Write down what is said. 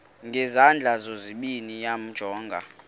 ngezandla zozibini yamjonga